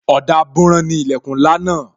Ọ̀dà buran ni ilẹkun ńlá náà